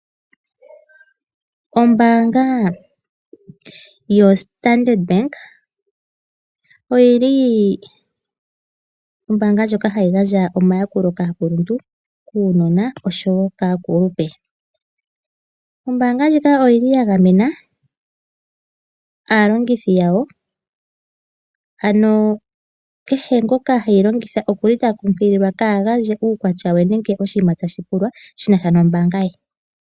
Ombaanga yoStandard Bank oyi li ombaanga ndjoka hayi gandja omayakulo kaakuluntu, kaanona oshowo kaakulupe. Ombaanga ndjika oyi li ya gamena aalongithi yawo, ano kehe ngoka heyi longitha oku li ta kunkililwa kaa gandje uukwatya we nenge oshinima tashi pulwa shi na sha nombaanga ye.